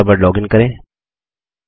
Thunderbird login करें